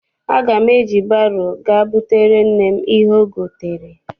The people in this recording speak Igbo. Aga m eji baro ga butere nne m ihe o gotere n'ahia.